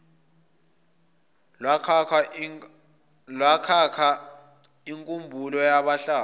lokwakha inkumbulo yabahlali